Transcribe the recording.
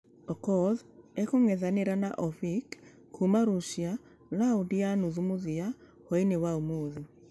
Okoth akũngethanĩra na ovik kuuma russia raundi ya nuthu mũthia hwainĩ ya ũmũthĩ .